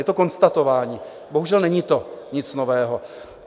Je to konstatování, bohužel není to nic nového.